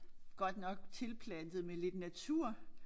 Godt nok tilplantet med lidt natur